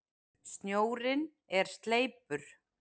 Snjórinn er sleipur!